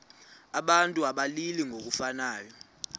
abantu abalili ngokufanayo